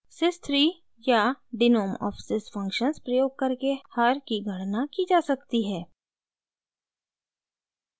sys3 या denom of sys functions प्रयोग करके हर की गणना की जा सकती है